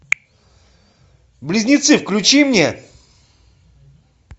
близнецы включи мне